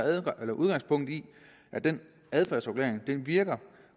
udgangspunkt i at den adfærdsregulering virker